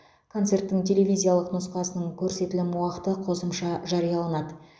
концерттің телевизиялық нұсқасының көрсетілім уақыты қосымша жарияланады